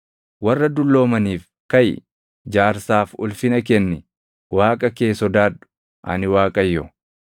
“ ‘Warra dulloomaniif kaʼi; jaarsaaf ulfina kenni; Waaqa kee sodaadhu. Ani Waaqayyo.